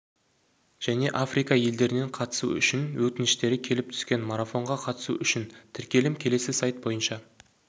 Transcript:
және африка елдерінен қатысу үшін өтініштері келіп түскен марафонға қатысу үшін тіркелім келесі сайт бойынша